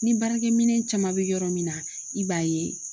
Ni baarakɛminɛn caman bɛ yɔrɔ min na i b'a ye